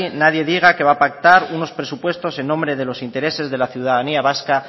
nadie diga que va a pactar unos presupuestos en nombre de los intereses de la ciudadanía vasca